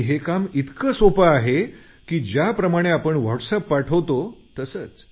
हे काम इतकं सोपं आहे की ज्याप्रमाणे आपण व्हॉटसएप पाठवतो तसंच